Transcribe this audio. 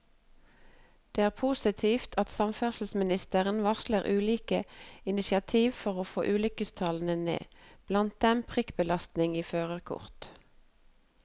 Det er positivt at samferdselsministeren varsler ulike initiativer for å få ulykkestallene ned, blant dem prikkbelastning i førerkort.